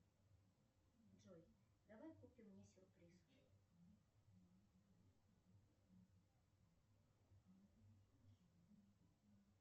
джой давай купим мне сюрприз